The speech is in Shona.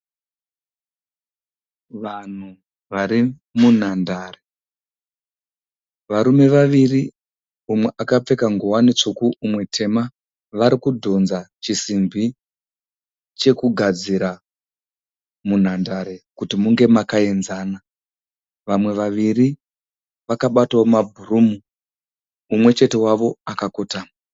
Vanhu vari munhandare, varume vaviri umwe akapfeka ngowani tsvuku umwe tema varikudzodha chisimbi chekugadzira munhandare kuti munge makainzana, vamwe vaviri vakabatawo mabhurumu, umwe chete vawo akakotama.